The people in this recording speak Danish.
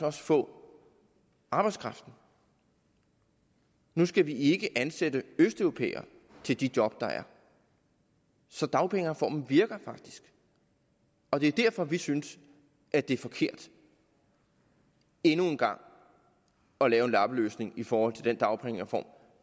også få arbejdskraften nu skal vi ikke ansætte østeuropæere til de job der er så dagpengereformen virker faktisk og det er derfor vi synes at det er forkert endnu en gang at lave en lappeløsning i forhold til den dagpengereform